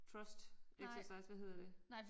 Trust exercise hvad hedder det